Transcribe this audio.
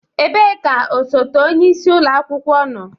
Ebee ka osote onye isi ụlọ akwụkwọ nọ?